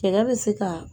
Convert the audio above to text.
Fɛɛrɛ bɛ se ka